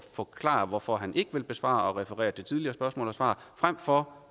forklare hvorfor han ikke vil besvare spørgsmålet og refererer til tidligere spørgsmål og svar frem for